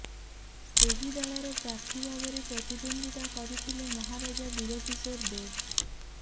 ସେହି ଦଳର ପ୍ରାର୍ଥୀ ଭାବରେ ପ୍ରତିଦ୍ବନ୍ଦ୍ୱିତା କରିଥିଲେ ମହାରାଜା ବୀରକିଶୋର ଦେବ